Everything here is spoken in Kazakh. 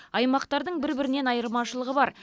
аймақтардың бір бірінен айырмашылығы бар